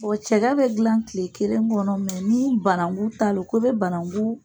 cɛgɛ be dilan tile kelen kɔnɔ ni bananku ta lo ko i be banankuu